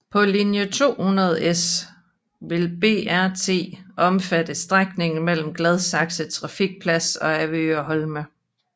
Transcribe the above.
På linje 200S vil BRT omfatte strækningen mellem Gladsaxe Trafikplads og Avedøre Holme